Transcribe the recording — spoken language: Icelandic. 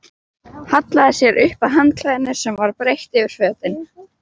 Hallaði sér upp að handklæðinu sem var breitt yfir fötin.